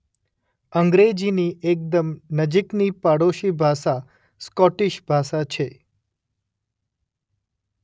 અંગ્રેજીની એકદમ નજીકની પડોશી ભાષા સ્કોટીશ ભાષા છે.